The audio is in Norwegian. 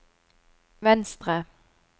venstre